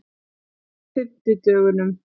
fimmtudögunum